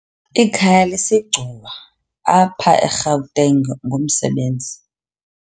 Ikhaya lakhe liseGcuwa, apha eGauteng ngumsebenzi.